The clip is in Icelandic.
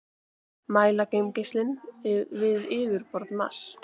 mæla geimgeislun við yfirborð mars